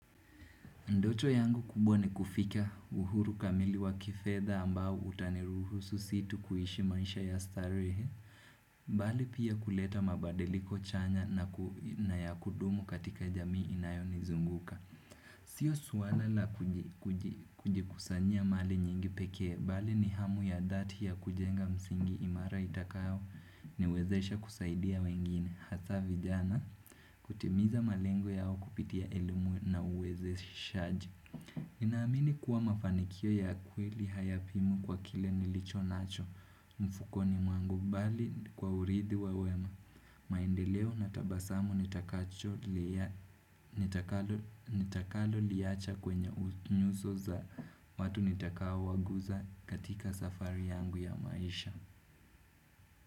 Ndoto yangu kubwa ni kufika uhuru kamili wa kifedha ambao utaniruhusu si tu kuishi maisha ya starehe, bali pia kuleta mabadiliko chanya na ya kudumu katika jamii inayonizunguka. Siyo swala la kujikusanyia mali nyingi pekee, bali ni hamu ya dhati ya kujenga msingi imara itakayoniwezesha kusaidia wengine. Hasaa vijana kutimiza malengo yao kupitia elimu na uwezeshaji Nonaamini kuwa mafanikio ya kweli hayapimwi kwa kile nilicho nacho mfukoni mwangu bali kwa uridhi wa wema maendeleo na tabasamu nitakaho nitakaloliacha kwenye nyuso za watu nitakao waguza katika safari yangu ya maisha.